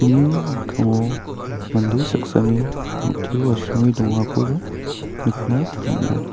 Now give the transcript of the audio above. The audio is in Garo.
ni mikkango mande saksani rong·teo asonge dongakoba nikna man·a.